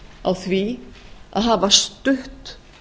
á því að hafa stutt